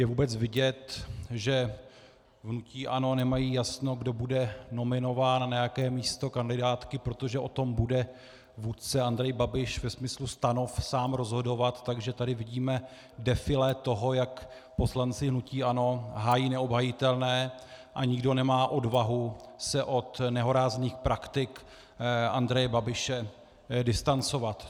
Je vůbec vidět, že v hnutí ANO nemají jasno, kdo bude nominován na jaké místo kandidátky, protože o tom bude vůdce Andrej Babiš ve smyslu stanov sám rozhodovat, takže tady vidíme defilé toho, jak poslanci hnutí ANO hájí neobhajitelné a nikdo nemá odvahu se od nehorázných praktik Andreje Babiše distancovat.